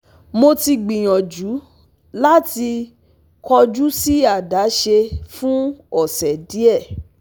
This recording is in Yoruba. Mo ti gbiyanju lati kọju si adaṣe fun ọsẹ diẹ